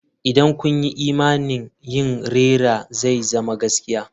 Idan kun yi imani yin rera zai zama gaskiya.